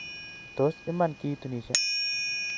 Tos iman kituunishe